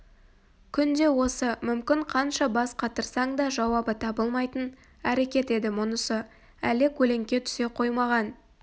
күнде осы мүмкін қанша бас қатырсаң да жауабы табылмайтын әрекет еді мұнысы әлі көлеңке түсе қоймаған